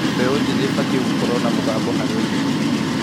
Mbeũ njĩthĩ ĩbatiĩ gũkorwo na mũgambo harĩ ũteti.